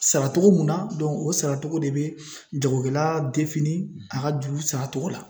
Sara togo mun na dɔnku o sara cogo de be jagokɛla defini a ka juru sara togo la